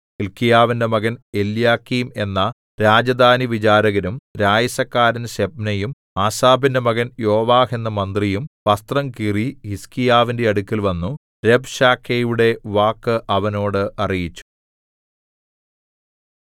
ഹില്ക്കീയാവിന്റെ മകൻ എല്യാക്കീം എന്ന രാജധാനിവിചാരകനും രായസക്കാരൻ ശെബ്നയും ആസാഫിന്റെ മകൻ യോവാഹ് എന്ന മന്ത്രിയും വസ്ത്രം കീറി ഹിസ്കീയാവിന്റെ അടുക്കൽ വന്നു രബ്ശാക്കേയുടെ വാക്ക് അവനോട് അറിയിച്ചു